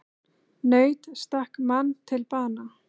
Naut stakk mann til bana